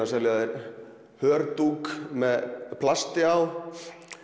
að selja þér með plasti á